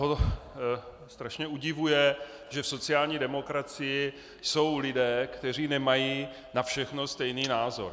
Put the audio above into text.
Jeho strašně udivuje, že v sociální demokracii jsou lidé, kteří nemají na všechno stejný názor.